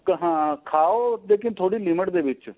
ਹਾਂ ਖਾਉ ਲੇਕਿਨ ਥੋੜੀ limit ਦੇ ਵਿੱਚ